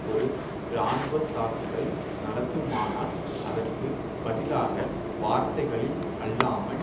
ஒரு இராணுவ தாக்குதல் நடத்துமானால் அதற்கு பதிலாக வார்த்தைகளில் அல்லாமல்